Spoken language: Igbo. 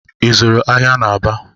I zụụrụ ahịa n'Aba?